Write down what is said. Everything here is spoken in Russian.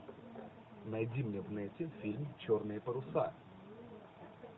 найди мне в нете фильм черные паруса